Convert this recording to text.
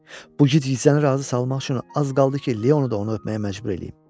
Bu gicgisləni razı salmaq üçün az qaldı ki, Leonu da onu öpməyə məcbur eləyim.